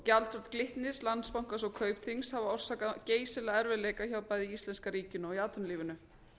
gjaldþrot glitnis landsbankans og kaupþings hafa orsakað geysilega erfiðleika hjá bæði íslenska ríkinu og í atvinnulífinu